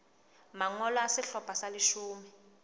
mangolo a sehlopha sa leshome